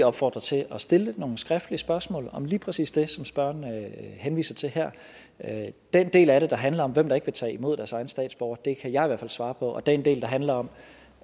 opfordre til at stille nogle skriftlige spørgsmål om lige præcis det som spørgeren henviser til her den del af det der handler om hvem der ikke vil tage imod deres egne statsborgere kan jeg i hvert fald svare på og den del der handler om